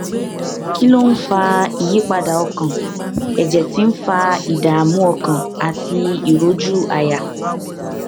kí ló ń fa ìyípadà ọkàn èjè tí ń fa ìdààmú ọkàn àti ìrójú àyà